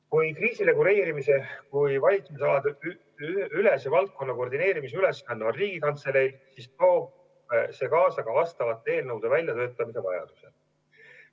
Kui kriisireguleerimise kui valitsusaladeülese valdkonna koordineerimise ülesanne on Riigikantseleil, siis toob see kaasa ka vastavate eelnõude väljatöötamise vajaduse.